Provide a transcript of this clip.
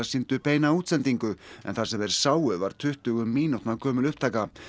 sýndu beina útsendingu en það sem þeir sáu á var tuttugu mínútna gömul upptaka